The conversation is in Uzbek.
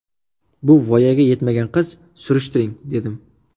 Bu voyaga yetmagan qiz, surishtiring dedim.